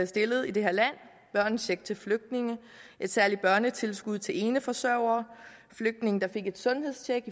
stillede i det her land børnecheck til flygtninge et særligt børnetilskud til eneforsørgere et sundhedstjek